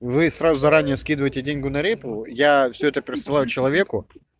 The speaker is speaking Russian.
вы ей сразу заранее скидывайте деньгу на репу я всё это пересылаю человеку